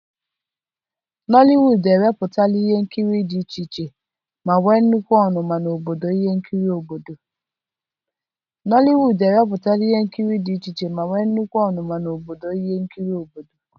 nollywood ewepụtala ihe nkiri dị iche iche ma nwee nnukwu ọnụma n'obodo ihe nkiri obodo